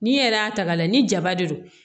Ni e yɛrɛ y'a ta k'a lajɛ ni jaba de don